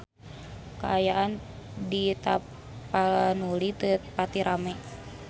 Kaayaan di Tapanuli teu pati rame